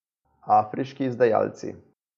Afriški izdajalci.